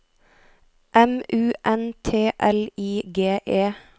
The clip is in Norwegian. M U N T L I G E